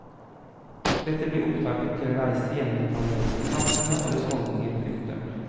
Dette blir opptakten til en reise gjennom det italienske samfunnet og dets holdninger. punktum